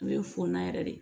A bɛ fɔn na yɛrɛ de